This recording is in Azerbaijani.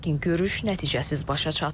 Lakin görüş nəticəsiz başa çatıb.